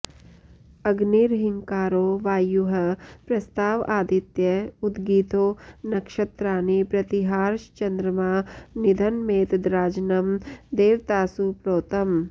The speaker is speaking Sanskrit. अग्निर्हिंकारो वायुः प्रस्ताव आदित्य उद्गीथो नक्षत्राणि प्रतिहारश्चन्द्रमा निधनमेतद्राजनं देवतासु प्रोतम्